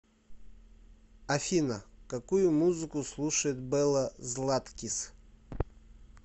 афина какую музыку слушает белла златкис